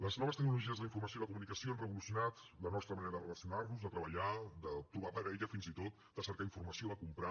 les noves tecnologies de la informació i la comunicació han revolucionat la nostra manera de relacionar nos de treballar de trobar parella fins i tot de cercar informació de comprar